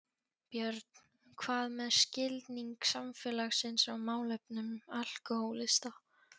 Björn: Hvað með skilning samfélagsins á málefnum alkóhólista?